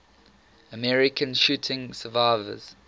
american shooting survivors